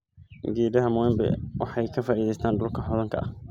Geedaha mwembe waxay ka faa'iideystaan dhulka hodanka ah.